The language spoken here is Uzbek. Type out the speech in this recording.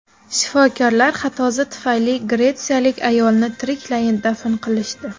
Shifokorlar xatosi tufayli gretsiyalik ayolni tiriklayin dafn qilishdi.